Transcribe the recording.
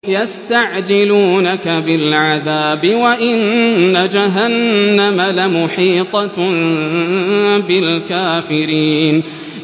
يَسْتَعْجِلُونَكَ بِالْعَذَابِ وَإِنَّ جَهَنَّمَ لَمُحِيطَةٌ بِالْكَافِرِينَ